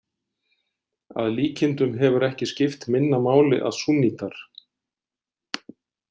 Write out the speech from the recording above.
Að líkindum hefur ekki skipt minna máli að súnnítar.